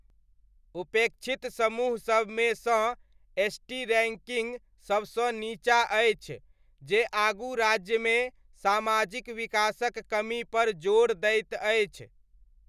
उपेक्षित समूहसबमे सँ, एसटी रैङ्किङ्ग सबसँ नीचाँ अछि, जे आगू राज्यमे सामाजिक विकासक कमीपर जोर दैत अछि।